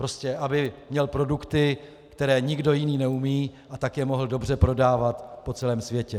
Prostě aby měl produkty, které nikdo jiný neumí, a tak je mohl dobře prodávat po celém světě.